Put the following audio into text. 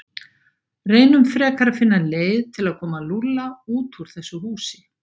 Reynum frekar að finna leið til að koma Lúlla út úr þessu húsi.